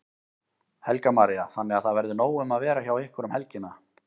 Helga María: Þannig að það verður nóg um að vera hjá ykkur um helgina?